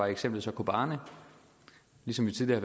eksemplet så kobane ligesom vi tidligere